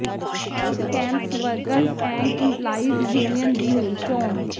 health campus workers and employees union ਦੀ ਹੋਈ ਚੋਣ